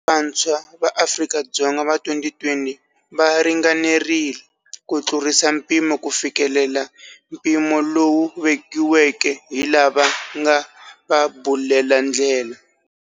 Vantshwa va Afrika-Dzonga va 2020 va ringanerile ku tlurisa mpimo ku fikelela mpimo lowu vekiweke hi lava nga va bulela ndlela.